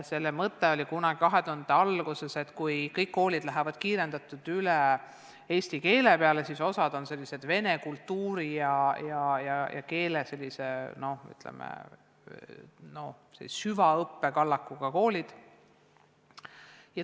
Selle mõte oli kunagi 2000-ndate alguses see, et kui kõik koolid lähevad kiirendatult üle eesti keele peale, siis osa on sellised vene kultuuri ja keele süvaõppe kallakuga koolid.